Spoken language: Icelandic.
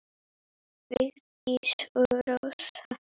Vigdís og Rósa.